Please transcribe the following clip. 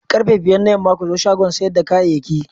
Karfe biyar na yamma ku zo shagon siyar da kayayyaki.